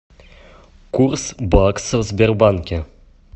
курс бакса в сбербанке